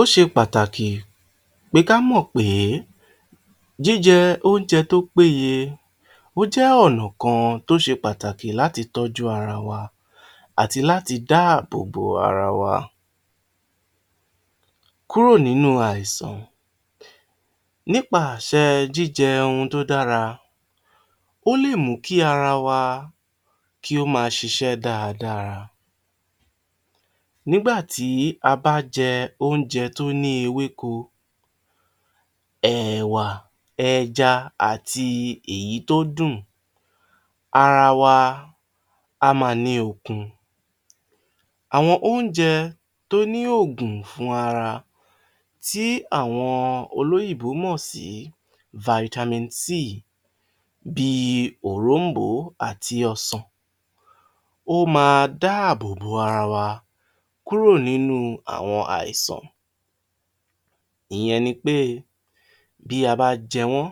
Ó ṣe pàtàkì pé ká mọ̀ pé jíjẹ oúnjẹ tó péye ó jẹ́ ọ̀nà kan pàtàkì láti tọ́jú ara wa àti láti dáàbò bo ara wa kúrò nínú àìsàn. Nípa àṣẹ jíjẹ ohun tó dára ó lè mú kí ara wa kí ó máa ṣiṣẹ́ dáradára, nígbà tí a bá jẹ oúnjẹ tó ní ewéko, ẹ̀ẹ̀wà, ẹja àti èyí tó dùn ara wa á máa ní okun dáadáa. Àwọn oúnjẹ tí ó ní ògùn fún ara tí àwọn olóyìnbó mọ̀ sí Vitamin C bí i òróǹbó àti ọsàn ó máa dáàbò bo ara wa kúrò nínú àwọn àìsàn, ìyẹn ni pé bí a bá jẹ wọ́n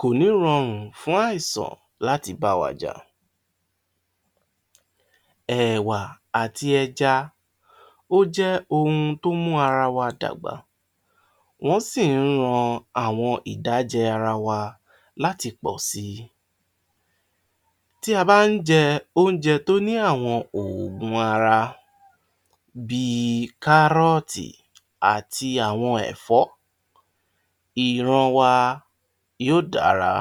kò ní rọrùn fún àìsàn láti bá wa jà[um] ẹ̀wà àti ẹja ó jẹ́ ó jẹ́ ohun tó ń mú ara wa dàgbà wọ́n sì ń mú ìdájẹ ara wa láti pọ̀ si, tí a bá ń jẹ àwọn oúnjẹ tó ní àwọn oògùn ara bí i kárọ̀tì àti àwọn ẹ̀fọ́ ìran wa yóò dára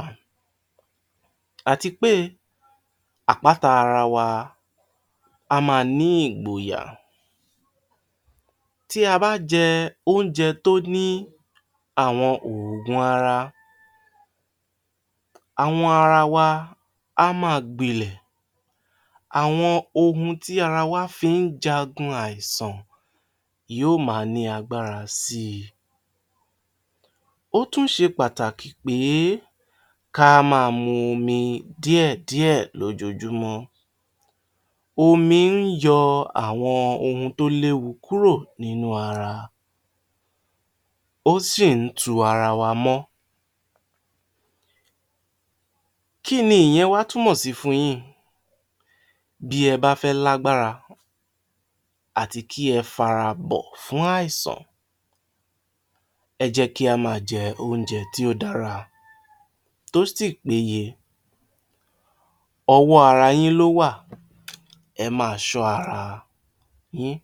àti pé àpáta ara wa á máa ní ìgboyà. Ta bá jẹ oúnjẹ tó ní àwọn oògùn ara àwọn ara wa á máa gbilẹ̀ àwọn ohun tí ara wa fi ń jagun àìsàn yóò máa ní agbára sí i, ó tún ṣe pàtàkì pé ka máa mu omi díẹ̀ díẹ̀ lóojúmọ́, omi ń yọ àwọn ohun tó léwu kúrò nínú ara[um] ó sì ń tu ara wa mọ́. Kí ni ìyẹn wá túmọ̀ sí fun yín? Bí ẹ bá fẹ́ lágbára àti kí ẹ farabọ̀ fún àìsàn ẹ jẹ́ kí a máa jẹ oúnjẹ tí ó dára tó sì péye, ọwọ́ ara yín ló wà, ẹ máa ṣọ́ ara yín.